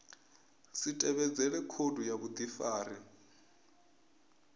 si tevhedzele khoudu ya vhudifari